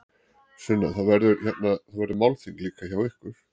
Sunna: Það verður, hérna, það verður málþing líka hjá ykkur?